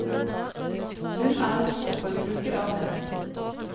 Hun er en storforbruker av menn.